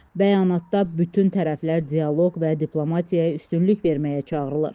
Bəyanatda bütün tərəflər dialoq və diplomatiyaya üstünlük verməyə çağırılır.